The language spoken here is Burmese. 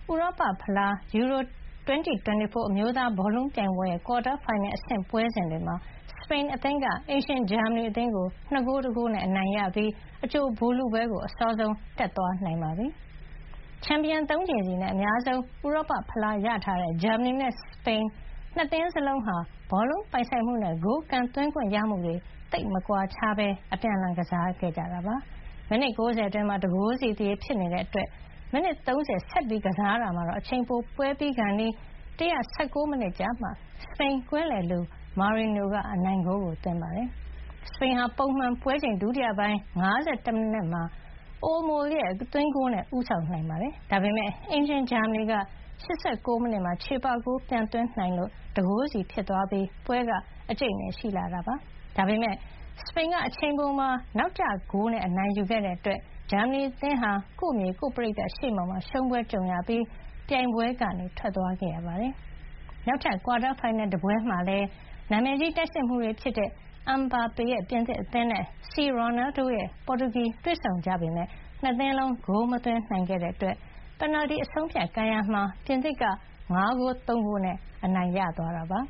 ဥရောပဖလား EURO 2024 အမျိုးသားဘောလုံးပြိုင်ပွဲရဲ့ ကွာတားဖိုင်နယ် အဆင့် ပွဲစဥ◌်တွေမှာ စပိန်အသင်းက အိမ်ရှင် ဂျာမနီ အသင်းကို ၂ ဂိုး ၁ ဂိုးနဲ့ အနိုင်ရပြီး အကြိုဗိုလ်လုပွဲကို အစောဆုံး တက်သွားနိုင်ခဲ့ပါတယ်။ ချန်ပီယံ ၃ ကြိမ်စီနဲ့ အများဆုံး ဥရောပ ဖလား ရထားတဲ့ ဂျာမနီနဲ့ စပိန် နှစ်သင်းစလုံးဟာ ဘောလုံး ပိုင်ဆိုင်မှုနဲ့ ဂိုးကန်သွင်းခွင့်ရမှုတွေ သိပ်မကွာခြားဘဲ အပြန်အလှန် ကစားခဲ့ကြတာပါ။ မိနစ် ၉၀ အတွင်းမှာ ၁ ဂိုးစီ သရေ ဖြစ်နေလို့ မိနစ် ၃၀ ဆက်ကစားတာမှာ အချိန်ပို ပွဲပြီးခါနီး ၁၁၉ မိနစ်ကျမှ စပိန်ကွင်းလယ်လူ မာရီနိုက အနိုင်ဂိုးသွင်းတာပါ။ စပိန်ဟာ ပုံမှန် ပွဲချိန် ဒုတိယပိုင်း ၅၁ မိနစ်မှာ အိုလ်မိုရဲ့ သွင်းဂိုးနဲ့ ဦးဆောင်နိုင်ခဲ့တာပါ။ ဒါပေမယ့် အိမ်ရှင် ဂျာမနီက ၈၉ မိနစ်မှာ ချေပဂိုး ပြန်သွင်းနိုင်ခဲ့လို့ ၁ ဂိုး စီ ဖြစ်သွားပြီး ပွဲက အကြိတ်အနယ်ပို ရှိလာခဲ့တာပါ။ ဒါပေမယ့် စပိန်က အချိန်ပိုမှာ နောက်ကျဂိုးနဲ့ အနိုင်ယူခဲ့လို့ ဂျာမနီ အသင်းဟာ ကိုယ့် မြေ ကိုယ့် ပရိသတ် ရှေ့မှောက်မှာ ရှုံးပွဲကြုံပြီး ပြိုင်ပွဲက ထွက်သွားခဲ့ရပါတယ်။ နောက်ထပ် ကွာတားဖိုင်နယ် တပွဲမှာလည်း နာမည်ကြီး တိုက်စစ်မှူးတွေ ဖြစ်ကြတဲ့ အမ်ဘာပေရဲ့ ပြင်သစ် အသင်းနဲ့ စီရော်နယ်ဒိုရဲ့ ပေါ်တူဂီ တွေ့ဆုံခဲ့ကြပေမယ့် နှစ်သင်းလုံး ဂိုးမသွင်းယူနိုင်ခဲ့လို့ ပင်နယ်တီ အဆုံးအဖြတ် ကန်ရာမှာ ပြင်သစ်က ၅ ဂိုး ၃ ဂိုးနဲ့ အနိုင်ယူသွားပါ